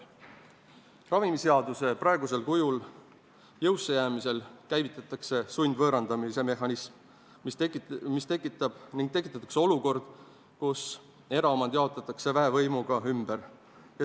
" Ravimiseaduse praegusel kujul jõusse jäämisel käivitatakse sundvõõrandamise mehhanism ning tekitatakse olukord, kus eraomand jaotatakse väevõimuga ümber.